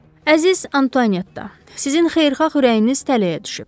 Əziz Antuanetta, sizin xeyirxah ürəyiniz tələyə düşüb.